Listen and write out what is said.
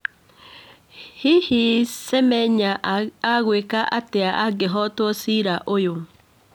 Hihi Semenya agwĩka atĩa angĩhotwo cira ũyũ?